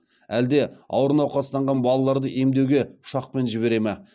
әлде ауыр науқастанған балаларды емдеуге ұшақпен жібере ма